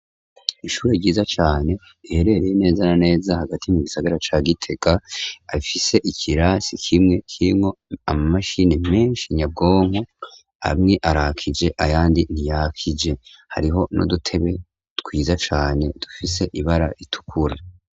Ishuro ryiza cane riherereye neza na neza hagati mu gisagara ca giteka afise ikirasi kimwe kinwo ama mashini menshi nyabwonko amwe arakije ayandi ntiyakije hariho nudutebe twiza cane dufise ibara ritukura.